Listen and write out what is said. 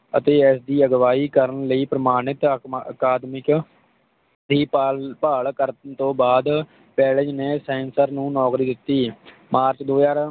ਅਤੇ ਇਸ ਦੀ ਅਗਵਾਈ ਕਰਨ ਲਈ ਪ੍ਰਮਾਣਤ ਅਕ ਅਕੈਡਮਿਕ ਦੀ ਭਾਲ ਭਾਲ ਕਰਨ ਤੋਂ ਬਾਦ ਵੈਲਜ਼ ਨੇ ਸੈਂਸਰ ਨੂੰ ਨੌਕਰੀ ਦਿੱਤੀ ਮਾਰਚ ਦੋ ਹਾਜ਼ਰ